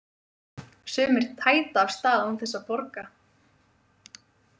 Sumir tæta af stað án þess að borga.